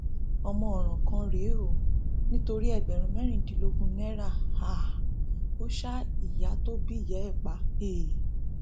ọmọ ọràn kan rèé o nítorí ẹgbẹrún mẹrìndínlógún náírà um ò ṣa ìyá tó bí ìyá ẹ pa um